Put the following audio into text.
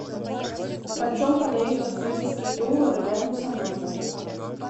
по чем продают австралийские доллары рядом со мной